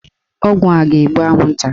Ọgwụ a ga-egbu anwụnta